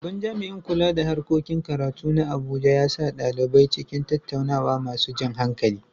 Babban jami’in kula da harkokin karatu na Abuja ya sa ɗalibai cikin tattaunawa masu jan hankali.